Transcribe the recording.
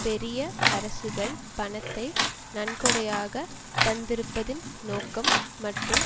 பெரிய அரசுகள் பணத்தை நன்கொடையாக தந்திருப்பதின் நோக்கம் மற்றும்